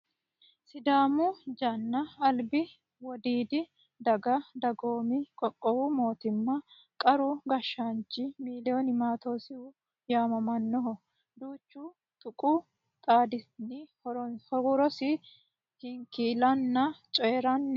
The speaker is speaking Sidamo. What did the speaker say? Sidaamu janna albi wodiidi daga dagoomi qoqqowi mootimm qara gashshaancho miloon maatoosi yaamamanno. Duuchu tuqu xaadinni huirosi hinkiillanna coyiranni uurre no.